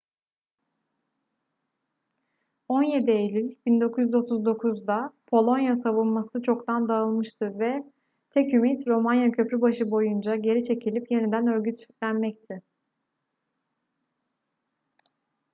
17 eylül 1939'da polonya savunması çoktan dağılmıştı ve tek ümit romanya köprübaşı boyunca geri çekilip yeniden örgütlenmekti